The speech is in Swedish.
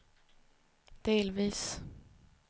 delvis